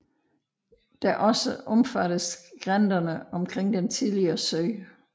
Der også omfatter skrænterne omkring den tidligere sø